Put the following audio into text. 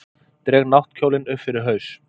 Dreg náttkjólinn upp yfir haus.